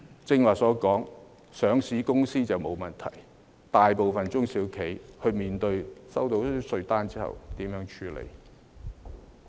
正如我剛才所說，是上市公司便沒問題，但大部分中小企收到稅單後，如何處理呢？